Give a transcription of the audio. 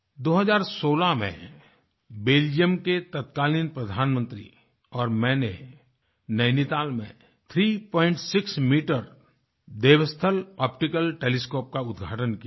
2016 में बेल्जियम के तत्कालीन प्रधानमंत्री और मैंने नैनीताल में36 मीटर देवस्थल आप्टिकल टेलीस्कोप का उद्घाटन किया था